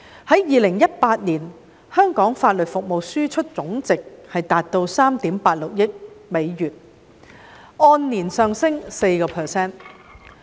在2018年，香港法律服務輸出總值達到3億 8,600 萬美元，按年上升 4%。